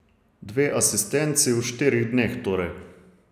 Dve asistenci v štirih dneh torej.